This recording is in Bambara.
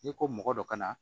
N'i ko mɔgɔ dɔ ka na